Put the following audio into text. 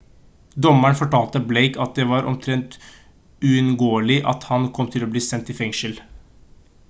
dommeren fortalte blake at det var «omtrent uunngåelig» at han kom til å bli sendt i fengsel